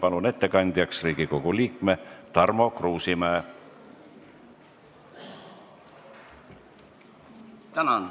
Palun ettekandeks kõnetooli Riigikogu liikme Tarmo Kruusimäe!